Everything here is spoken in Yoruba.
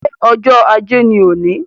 Ṣé ọjọ́ ajé ni òní?